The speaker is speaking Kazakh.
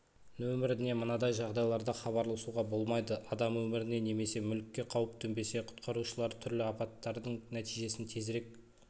нөміріне мынадай жағдайларда хабарласуға болмайды адам өміріне немесе мүлікке қауіп төнбесе құтқарушылар түрлі апаттардың нәтижесін тезірек